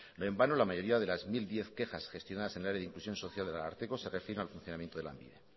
no en vano la mayoría de las mil diez quejas gestionadas en el área de inclusión social del ararteko se refiere al funcionamiento de lanbide